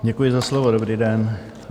Děkuji za slovo, dobrý den.